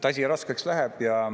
Asi raskeks läheb.